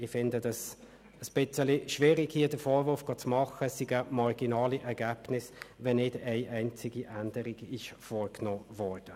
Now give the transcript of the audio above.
Ich finde es ein bisschen schwierig, hier den Vorwurf zu machen, es seien marginale Ergebnisse, wenn nicht eine einzige Änderung vorgenommen wurde.